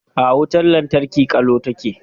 A'a, wutar lantarki ƙalau take.